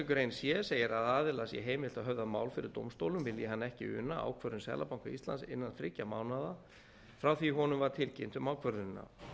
grein c segir að aðila sé heimilt að höfða mál fyrir dómstólum vilji hann ekki una ákvörðun seðlabanka íslands innan þriggja mánaða frá því honum var tilkynnt um ákvörðunina